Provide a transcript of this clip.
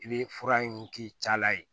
I bɛ fura in k'i ta la yen